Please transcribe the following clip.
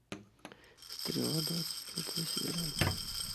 стрела двадцать пятая серия